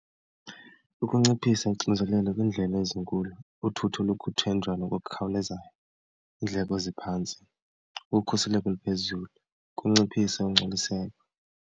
Ukunciphisa unxinzelelo kwiindlela ezinkulu, uthutho lokuthenjwa nokukhawulezayo, iindleko eziphantsi, ukhuseleko oluphezulu, ukunciphisa ungcoliseko.